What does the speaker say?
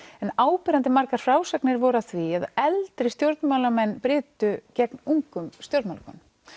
en áberandi margar frásagnir voru af því að eldri stjórnmálamenn brytu gegn ungum stjórnmálakonum